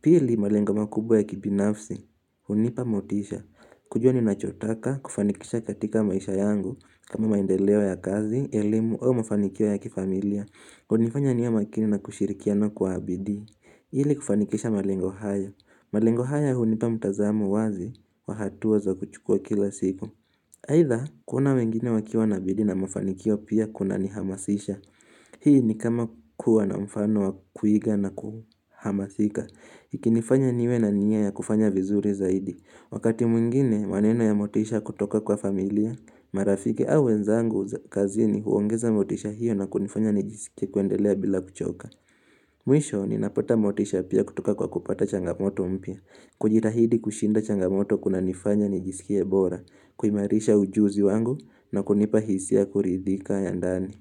Pili malengo makubwa ya kibinafsi, hunipa motisha kujua ninachotaka, kufanikisha katika maisha yangu kama maendeleo ya kazi, elimu, au mafanikio ya kifamilia hunifanya niwe makini na kushirikiano kwa bidii ili kufanikisha malengo haya malengo haya hunipa mtazamo wazi, wa hatua za kuchukua kila siku aidha, kuona wengine wakiwa na bidii na mafanikio pia kunanihamasisha Hii ni kama kuwa na mfano wa kuiga na kuhamasika ikinifanya niwe na nia ya kufanya vizuri zaidi Wakati mwingine maneno ya motisha kutoka kwa familia marafiki au wenzangu kazini huongeza motisha hiyo na kunifanya nijisikie kuendelea bila kuchoka Mwisho ninapata motisha pia kutoka kwa kupata changamoto mpya kujitahidi kushinda changamoto kuna nifanya nijisikie bora kuimarisha ujuzi wangu na kunipa hisia ya kuridhika ya ndani.